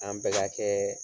An bɛ ka kɛɛ